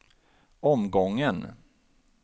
omgången